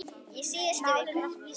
Í síðustu viku.